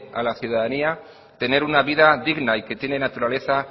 a la ciudadanía tener una vida digna y que tiene naturaleza